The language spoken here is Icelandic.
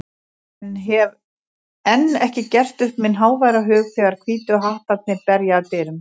en hef enn ekki gert upp minn háværa hug þegar Hvítu hattarnir berja að dyrum.